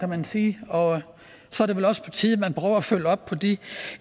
man sige og så er det vel også på tide at man prøver at følge op på de